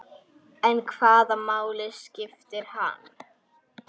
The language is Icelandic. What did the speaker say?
Hvernig hitar kvikan vatnið?